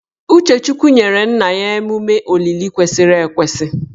Uchechukwu nyere nna ya emume olili kwesịrị ekwesị